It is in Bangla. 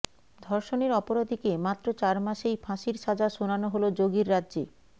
ধর্ষণের অপরাধীকে মাত্র চার মাসেই ফাঁসির সাজা শোনানো হল যোগীর রাজ্যে